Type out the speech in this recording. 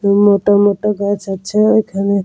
মোটা মোটা গাছ আছে এইখানে ।